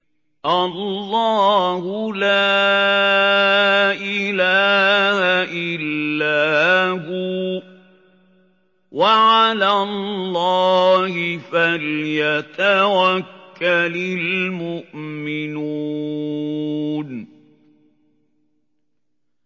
اللَّهُ لَا إِلَٰهَ إِلَّا هُوَ ۚ وَعَلَى اللَّهِ فَلْيَتَوَكَّلِ الْمُؤْمِنُونَ